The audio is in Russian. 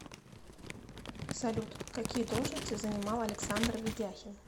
салют какие должности занимал александр ведяхин